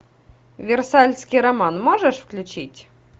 версальский роман можешь включить